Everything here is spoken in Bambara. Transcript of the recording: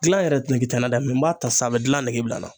Gilan yɛrɛ nege tɛ n na dɛ mɛ n b'a ta san a be gilan nege bila n na